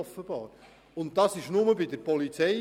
Diesen fordern Sie nur bei der Polizei.